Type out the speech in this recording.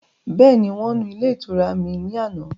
Bẹ́ẹ̀ni, Wọ́n nu ilé ìtura mi ni àná